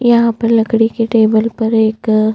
यहाँ पर लकड़ी के टेबल पर एक --